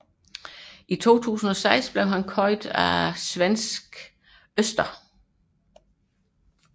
I 2006 blev han købt af svenske Öster